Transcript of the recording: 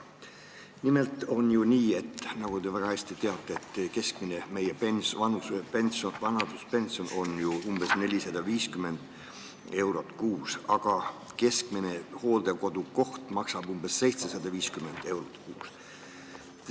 Nimelt on ju nii, nagu te väga hästi teate, et meie keskmine vanaduspension on umbes 450 eurot kuus, aga keskmine hooldekodukoht maksab umbes 750 eurot kuus.